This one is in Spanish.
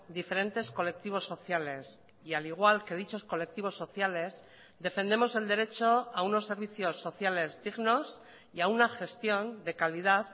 diferentes colectivos sociales y al igual que dichos colectivos sociales defendemos el derecho a unos servicios sociales dignos y a una gestión de calidad